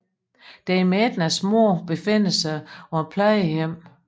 Dame Ednas moder befinder sig på et plejehjem